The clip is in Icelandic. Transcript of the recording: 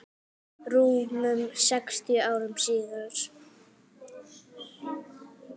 rúmum sextíu árum áður.